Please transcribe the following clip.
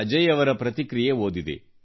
ಅಜಯ್ ಅವರ ಪ್ರತಿಕ್ರಿಯೆ ಓದಿದೆ